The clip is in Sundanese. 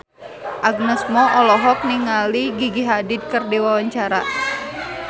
Agnes Mo olohok ningali Gigi Hadid keur diwawancara